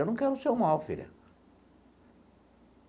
Eu não quero o seu mal, filha.